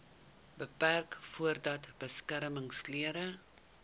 beperk voordat beskermingsklere